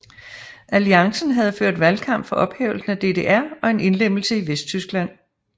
Alliancen havde ført valgkamp for ophævelse af DDR og en indlemmelse i Vesttyskland